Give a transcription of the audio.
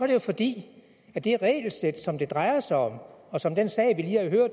det fordi det regelsæt som det drejer sig om